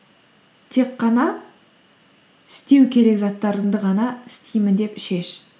тек қана істеу керек заттарынды ғана істеймін деп шеш